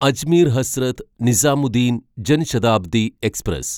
Ajmer Hazrat Nizamuddin Jan Shatabdi express